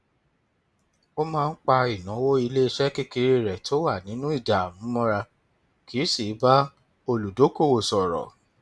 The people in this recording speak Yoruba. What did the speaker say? ó máa ń pa ìnáwó iléiṣẹ kékeré rẹ tó wà nínú ìdààmú mọra kì í sì bá olùdókòwò sọrọ